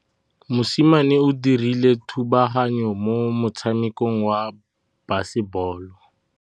Mosimane o dirile thubaganyô mo motshamekong wa basebôlô.